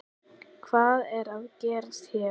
Hvað er að gerast hér?